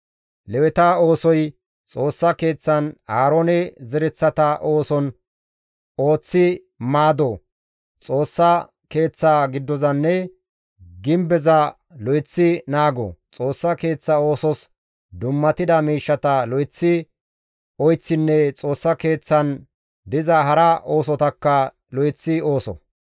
Leweta oosoy Xoossa Keeththan Aaroone zereththata ooson ooththi maado, Xoossa Keeththa giddozanne gibbeza lo7eththi naago, Xoossa Keeththa oosos dummatida miishshata lo7eththi oyththinne Xoossa Keeththan diza hara oosotakka lo7eththi ooso.